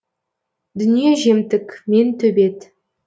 дүние жемтік мен төбет